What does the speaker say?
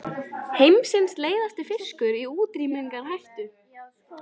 Heimsins leiðasti fiskur í útrýmingarhættu